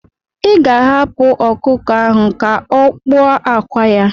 Ị ga-ahapụ ọkụkọ ahụ ka o kpuo akwa ya.